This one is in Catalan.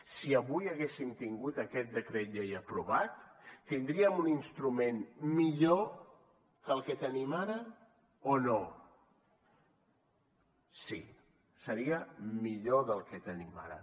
si avui haguéssim tingut aquest decret llei aprovat tindríem un instrument millor que el que tenim ara o no sí seria millor del que tenim ara